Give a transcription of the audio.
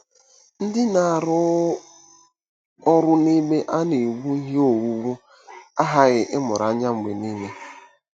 Ndị na-arụ ọrụ n'ebe a na-ewu ihe owuwu aghaghị ịmụrụ anya mgbe niile.